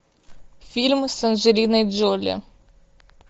фильм с анджелиной джоли